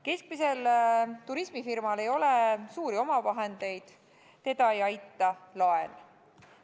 Keskmisel turismifirmal ei ole suuri omavahendeid, teda ei aita laen.